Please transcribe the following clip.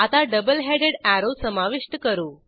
आता double headed arrow समाविष्ट करू